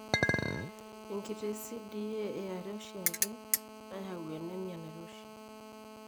Enkiti CDA eare eoshiake nayau anemia nairoshi.